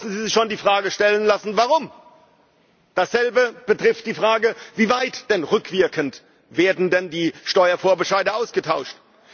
Da müssen sie sich schon die Frage stellen lassen, warum? Dasselbe betrifft die Frage Wie weit werden denn rückwirkend die Steuervorbescheide ausgetauscht?